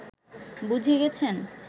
বুঝে গেছেন